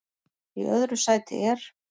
Í öðru sæti er